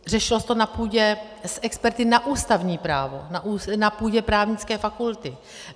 Řešilo se to na půdě s experty na ústavní právo, na půdě právnické fakulty.